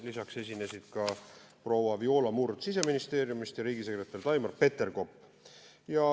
Lisaks esinesid proua Viola Murd Siseministeeriumist ja riigisekretär Taimar Peterkop.